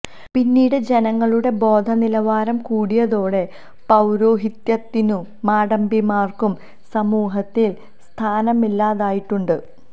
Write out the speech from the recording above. പിന്നീട് ജനങ്ങളുടെ ബോധ നിലവാരം കൂടിയതോടെ പൌരോഹിത്യത്തിനും മാടമ്പിമാർക്കും സമൂഹത്തിൽ സ്ഥാനമില്ലാതായിട്ടുണ്ട്